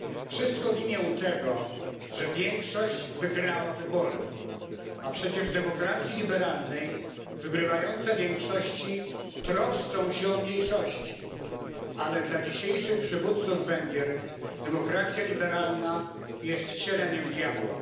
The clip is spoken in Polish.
Wszystko w imię tego, że większość wygrała wybory, a przecież w demokracji liberalnej wygrywające większości troszczą się o mniejszości, ale dla dzisiejszych przywódców Węgier demokracja liberalna jest wcieleniem diabła.